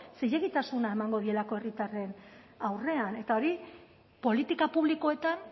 zilegitasuna emango dielako herritarren aurrean eta hori politika publikoetan